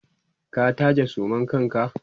ka taje suman kanka!